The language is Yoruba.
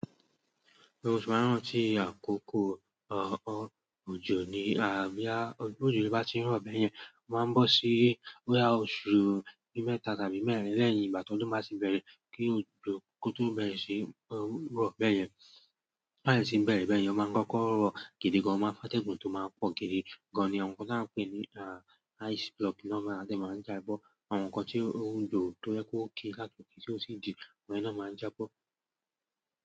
Oṣù márùn-ún tí àkókò ọ̀ọ̀ ọjọ̀ ni, àbí ọjọ́ ojò bá ti ń rọ̀ bẹ́ẹ̀ yẹn, a máa ń bọ́ sí boya oṣù mẹ́ta tàbí mẹ́rin lẹ́ẹ̀yìn ìgbà tó dùn ba tì bẹ̀rẹ̀ kí òjò kótó bẹ̀rẹ̀ sí ń rọ̀ bẹ́ẹ̀ yẹn. To ba deti ń bẹ̀rẹ̀ bẹ́ẹ̀ yẹn, ó máa ń kọ́kọ́ rọ̀ gidi gan, ó máa ń fa tẹ̀gún tó máa ń pọ̀ gidi gan ni ohun kan tí a ń pè ní ah ice block ló máa ń jẹ́ máa ń já bọ àwọn nkan ti o wúlò to je pe okay ti o ti di, àwọn iyen na maa n jabo.